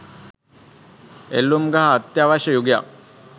එල්ලුම් ගහ අත්‍යවශ්‍ය යුගයක්